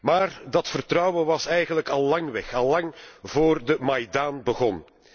Maar dat vertrouwen was eigenlijk al lang weg, lang voordat de Maidan begon.